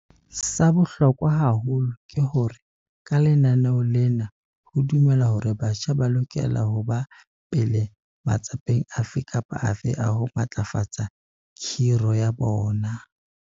Sa bohlokwa haholo ke hore ka lenaneo lena ho dumelwa hore batjha ba lokela ho ba pele matsapeng afe kapa afe a ho matlafatsa khiro ya bona.